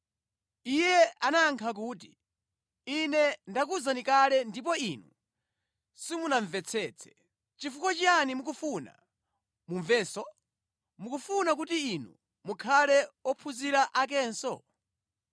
Iye anayankha kuti, “Ine ndakuwuzani kale ndipo inu simunamvetsetse. Chifukwa chiyani mukufuna mumvenso? Mukufuna kuti inu mukhale ophunzira akenso?”